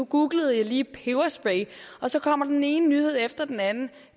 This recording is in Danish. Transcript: googlede lige peberspray og så kommer den ene nyhed efter den anden